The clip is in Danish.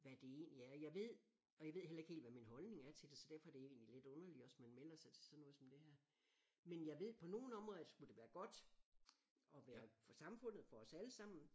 Hvad det egentlig er jeg ved og jeg ved heller ikke helt hvad min holdning er til det så derfor er det egentlig lidt underligt også man melder sig til sådan noget som det her men jeg ved på nogen områder at skulle være godt og være for samfundet for os alle sammen